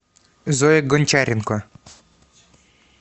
зоя гончаренко